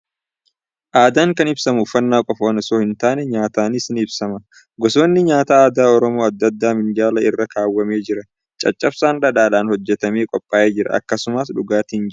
Aadaan kan ibsamu uffannaa qofaan osoo hin taane, nyaataani s ni ibsama. Gosoonni nyaataa aadaa Oromoo adda addaan minjaala irra kaawwamee jira. Caccabsaan dhadhaan hojjetamee qophaa'ee jira. Akkasumas dhugaatiin jira.